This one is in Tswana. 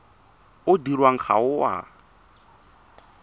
o dirwang ga o a